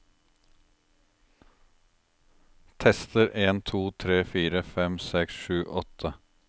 Tester en to tre fire fem seks sju åtte